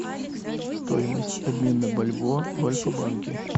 стоимость обмена бальбоа в альфа банке